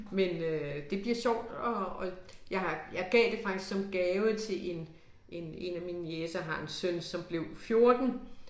Men øh det bliver sjovt at at jeg har jeg gav det faktisk som gave til 1 1 1 af mine niecer har en søn som blev 14